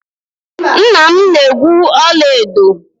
Nna m na-egwu ọla edo.